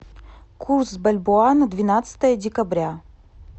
курс бальбоа на двенадцатое декабря